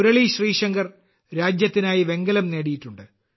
മുരളിശ്രീശങ്കർ രാജ്യത്തിനായി വെങ്കലം നേടിയിട്ടുണ്ട്